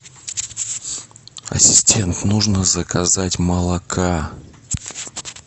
ассистент нужно заказать молока